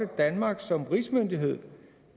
danmark som rigsmyndighed